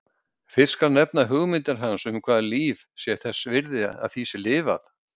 Fyrst skal nefna hugmyndir hans um hvaða líf sé þess virði að því sé lifað.